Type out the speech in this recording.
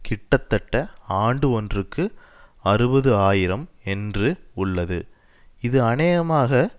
கிட்டத்தட்ட ஆண்டு ஒன்றுகு அறுபது ஆயிரம் என்று உள்ளது இது அநேகமாக